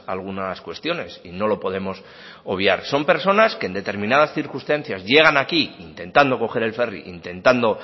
algunas cuestiones y no lo podemos obviar son personas que en determinadas circunstancias llegan aquí intentando coger el ferri intentando